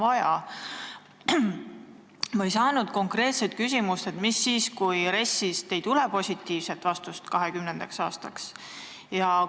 Aga ma ei saanud konkreetset vastust, mis juhtub siis, kui RES-ist ei tule 2020. aastaks positiivset vastust.